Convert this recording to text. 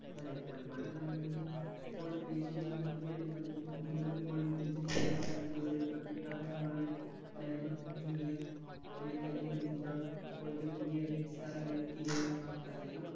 അതെ ഒരുപാട് കാര്യങ്ങളും ഇപ്പോൾ ദേശീയ team കൾക്ക് വേണ്ടി പല രാജ്യങ്ങളു ഇപ്പോൾ മികച്ച നെയ്മർ junior ഇപ്പോഴത്തെ പുതിയ youngstar ആയ കിലിയൻ എംബാപ്പെ അദ്ദേഹം